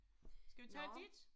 Skal vi tage dit?